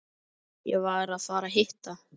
Ég var að fara að hitta